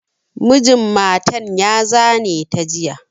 Mijin matan ya zane ta jiya.